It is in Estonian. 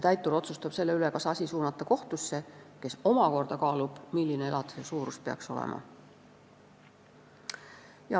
Täitur otsustab selle üle, kas asi suunata kohtusse, kes omakorda kaalub, milline peaks elatise suurus olema.